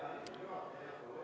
Aitäh, hea istungi juhataja!